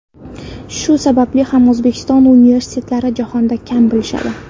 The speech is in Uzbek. Shu sababli ham O‘zbekiston universitetlarini jahonda kam bilishadi.